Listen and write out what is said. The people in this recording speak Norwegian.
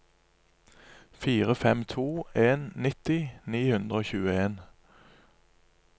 fire fem to en nitti ni hundre og tjueen